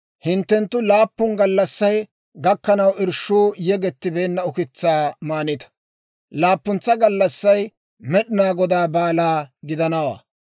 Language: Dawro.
Hinttenttu laappun gallassay gakkanaw irshshuu yegettibeenna ukitsaa maanitta; laappuntsa gallassay Med'inaa Godaa baalaa gidanawaa.